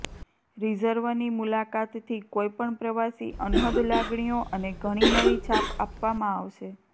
રિઝર્વની મુલાકાતથી કોઈપણ પ્રવાસી અનહદ લાગણીઓ અને ઘણી નવી છાપ આપવામાં આવશે